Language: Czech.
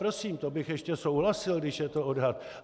Prosím, to bych ještě souhlasil, když je to odhad.